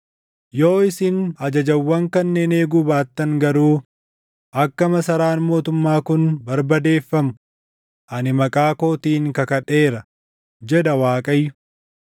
Yoo isin ajajawwan kanneen eeguu baattan garuu akka masaraan mootummaa kun barbadeeffamu ani maqaa kootiin kakadheera, jedha Waaqayyo.’ ”